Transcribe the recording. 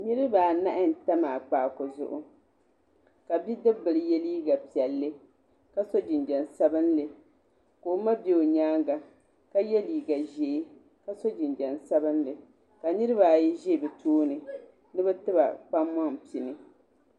Niriba anahi n tam akpaaku zuɣu ka bidibi bili ye liiga piɛlli ka so jinjam sabinli ka o ma bɛ o yɛanga ka ye liiga zɛɛ ka so jinjam sabinli ka niriba ayi zɛ bi tooni ni bi to a kpaŋma pini.